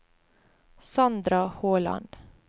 Sandra Håland